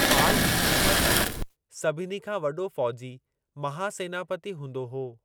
पाल हुकुमत में सभिनी खां वॾो फौजी महासेनापति हूंदो हो।